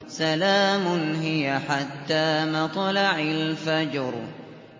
سَلَامٌ هِيَ حَتَّىٰ مَطْلَعِ الْفَجْرِ